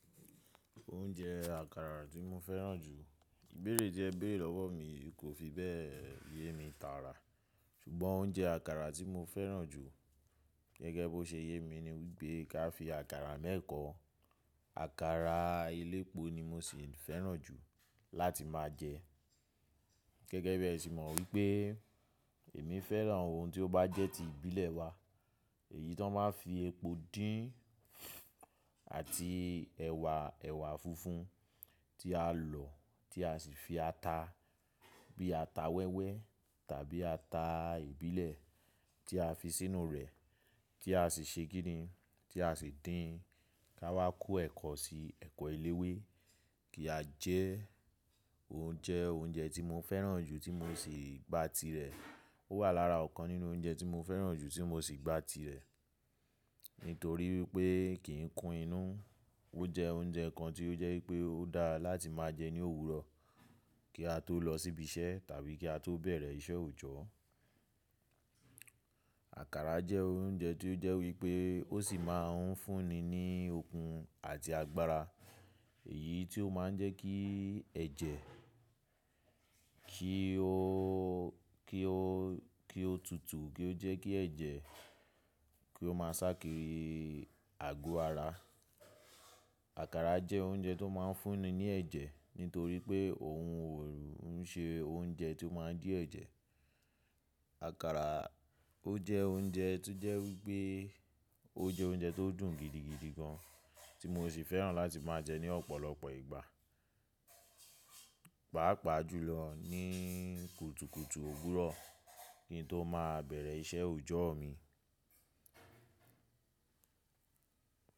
Oúnjẹ àkàrà tí mo fẹ́ràn jù. Ibẹ́ẹ̀re te bẹ́ẹ̀ lọ́wọ́ mi, kò fi bẹ́ẹ̀ yé mi tààrà. Ṣùgbọ́n oúnjẹ àkàrà tí mo fẹ́ràn jù gẹ́gẹ́ bí ó ṣe yé mi ni wípé ká fi àkàrà mẹ́ẹ̀kọ́, àkàrà elépo ni mo sì fẹ́ràn jù láti máa jẹ. Gẹ́gẹ́ bẹ́ẹ̀ sì mọ̀ wípé èmi fẹ́ràn awon tí ó bá jẹ́ ti ìbílẹ̀ wa. Èyí tó máa ń fi epo dín àti ẹ̀wà, ẹ̀wà funfun tí a lọ̀, tí a sì fi ata bí ata wẹ́wẹ́ tàbí ata ìbílẹ̀ tí a fi sínú rẹ̀ tí a sì ṣe kini, tí a sì dín ká wá kó ẹ̀kọ́ sí ẹ̀kọ́ eléwé kí a jẹ́ oúnjẹ, oúnjẹ tí mo fẹ́ràn jù tí mo sì gba tirẹ̀. Ó wà lára ọ̀kan nínú oúnjẹ tí mo fẹ́ràn jù tí mo sì gba tirẹ̀. Nítorí wípé kì í kun inú. Ó jẹ oúnjẹ kan tí ó jẹ́ wípé ó dára láti máa jẹ ní òwúrọ̀ kí a tó lọ síbi iṣẹ́ tàbí kí a tó bẹ̀rẹ̀ iṣẹ́ òòjọ́. Àkàrà jẹ́ oúnjẹ tí ó jẹ́ wípé ó sì máa ń fúnni ní okun àti agbára. Èyí tí ó máa ń jẹ́ kí ẹ̀jẹ̀ kí ó, kí ó, kí ó tutù, kí ó jẹ́ kí ẹ̀jẹ̀ kí ó máa sá kiri àgọ́ ara. Àkàrà jẹ́ oúnjẹ tó máa ń fúnni ní ẹ̀jẹ̀ nítorí pé òun òrò ń ṣe oúnjẹ tí ó máa ń dí ẹ̀jẹ̀. Àkàrà ó jẹ́ oúnjẹ tí ó jẹ́ wípé ó jẹ́ oúnjẹ tó dùn gidigidi gan tí mo sì fẹ́ràn láti máa jẹ ní ọ̀pọ̀lọpọ̀ ìgbà, pàápàá jùlọ ní kùtùkùtù òwúrọ̀ kí n tó máa bẹ̀rẹ̀ iṣẹ́ òòjọ́ mi.